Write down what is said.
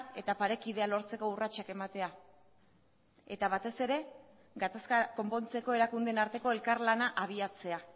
eta parekidea lortzeko urratsak ematea eta batez ere gatazka konpontzeko erakundeen arteko elkarlana abiatzea